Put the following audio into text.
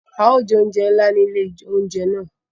A yóò jẹ oúnjẹ nlá ni ilé oúnjẹ náà